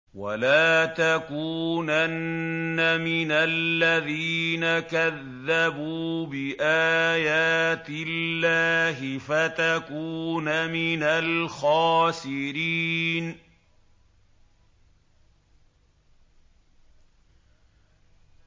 وَلَا تَكُونَنَّ مِنَ الَّذِينَ كَذَّبُوا بِآيَاتِ اللَّهِ فَتَكُونَ مِنَ الْخَاسِرِينَ